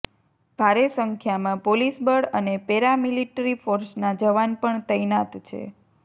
ભારે સંખ્યામાં પોલીસ બળ અને પેરામિલિટ્રી ફોર્સના જવાન પણ તૈનાત છે